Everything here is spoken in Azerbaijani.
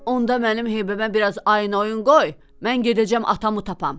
“Onda mənim heybəmə biraz ayın oyun qoy, mən gedəcəm atamı tapam.”